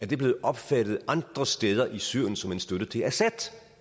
det blevet opfattet andre steder i syrien som en støtte til assad